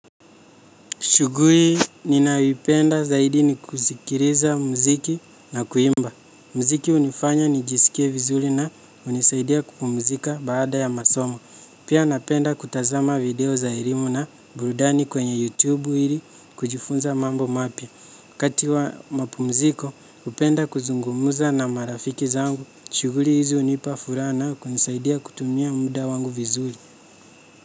Shughuli ninayoipenda zaidi ni kusikiliza muziki na kuimba. Muziki hunifanya nijisikie vizuri na hunisaidia kupumzika baada ya masomo. Pia napenda kutazama video za elimu na burudani kwenye YouTube ili kujifunza mambo mapya. Wakati wa mapumziko, hupenda kuzungumza na marafiki zangu. Shughuli hizi hunipa furaha na kunisaidia kutumia muda wangu vizuri.